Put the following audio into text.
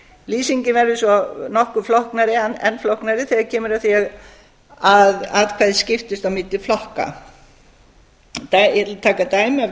lýsingin verður svo enn flóknari þegar kemur að því að atkvæði skiptist á milli flokka ég ætla að taka dæmi af